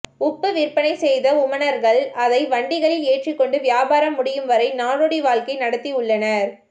உப்பு விற்பனை செய்த உமணர்கள் அதை வண்டிகளில் ஏற்றிக்கொண்டு வியாபாரம் முடியும்வரை நாடோடி வாழ்க்கை நடத்தி உள்ளனர்